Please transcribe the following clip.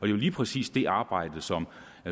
lige præcis det arbejde som